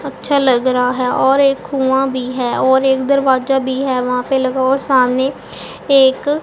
अच्छा लग रहा है और एक कुआं भी है और एक दरवाजा भी है वहां पे लगा हुआ सामने एक--